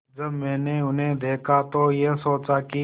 जब मैंने उन्हें देखा तो ये सोचा कि